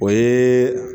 O ye